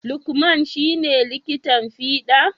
Lukman ci ne likitan fida?